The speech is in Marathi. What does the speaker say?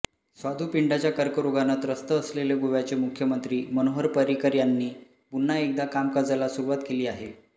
स्वादूपिंडाच्या कर्करोगानं त्रस्त असलेले गोव्याचे मुख्यमंत्री मनोहर पर्रिकर यांनी पुन्हा एकदा कामकाजाला सुरुवात केली आहे